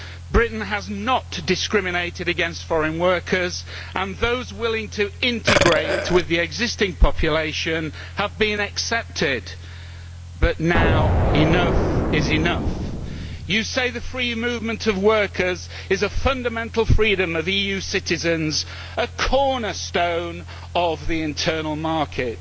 Britain has not discriminated against foreign workers, and those willing to integrate with the existing population have been accepted, but now enough is enough. You say the free movement of workers is a fundamental freedom of EU citizens, a cornerstone of the internal market.